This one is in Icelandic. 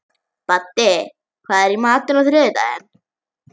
Baddi, hvað er í matinn á þriðjudaginn?